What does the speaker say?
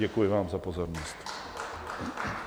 Děkuji vám za pozornost.